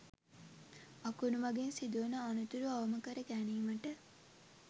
අකුණු මඟින් සිදුවන අනතුරු අවම කර ගැනීමට